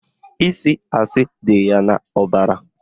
Ịsị asị dị ya n'ọbara